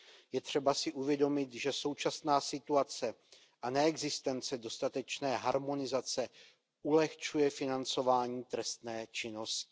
Je třeba si uvědomit, že současná situace a neexistence dostatečné harmonizace ulehčuje financování trestné činnosti.